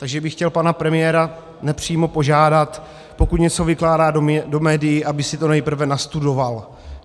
Takže bych chtěl pana premiéra nepřímo požádat, pokud něco vykládá do médií, aby si to nejprve nastudoval.